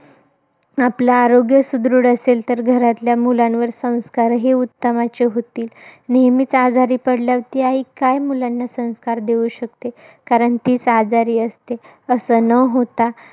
आपलं आरोग्य सुदृढ असेल तर घरातल्या मुलांवर, संस्कारही उत्तमच होतील. नेहमीच आजारी पडल्यावर ती आई मुलांना काय संस्कार देऊ शकते? कारण तीच आजारी असते. असं न होता,